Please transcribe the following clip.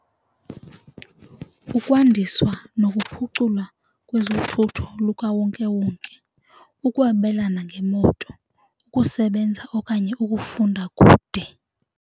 Ukwandiswa nokuphuculwa kwezothutho lukawonkewonke, ukwabelana ngemoto, ukusebenza okanye ukufunda kude.